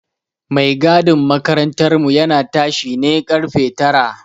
Mai gadin makarantar mu ya na tashi ne ƙarfe tara